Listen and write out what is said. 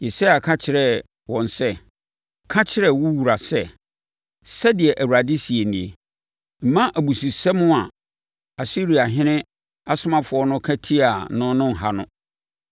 Yesaia ka kyerɛɛ wɔn sɛ, “Ka kyerɛ wo wura sɛ, ‘Sɛdeɛ Awurade seɛ nie: Mma abususɛm a Asiriahene asomafoɔ no ka tiaa me no nha wo.